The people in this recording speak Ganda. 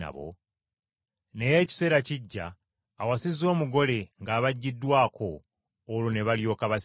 Naye ekiseera kijja, awasizza omugole ng’abaggiddwako olwo ne balyoka basiiba.”